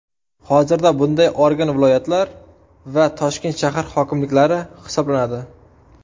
Hozirda bunday organ viloyatlar va Toshkent shahar hokimliklari hisoblanadi.